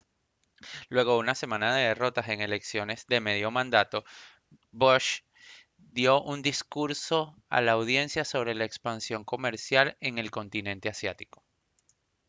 luego de una semana de derrotas en elecciones de medio mandato bush dio un discurso a la audiencia sobre la expansión comercial en el continente asiático